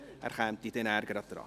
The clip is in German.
er kommt danach an die Reihe.